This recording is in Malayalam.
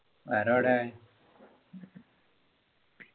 വേറെ എവിടേം